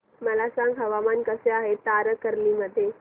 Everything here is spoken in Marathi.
मला सांगा हवामान कसे आहे तारकर्ली मध्ये